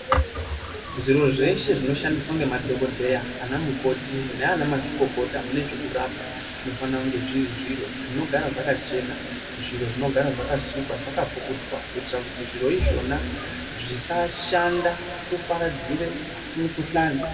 Zviro zveshe zvinoshandiswa ngemadhokodheya, anamukoti nanamazvikokota mune zvekurapa zvinofana unge zviri zviro zvinogara zvakachena , zviro zvinogara zvakasukwa , zvakapukutwa kuitira kuti zviro izvona zvisashanda kuparadzire mukuhlani.